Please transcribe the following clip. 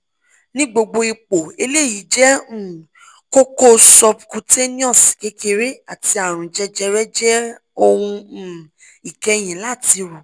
ni gbogbo ipo eleyi je um koko subcutaneous kekere ati arun jejere je ohun um ikeyi lati ro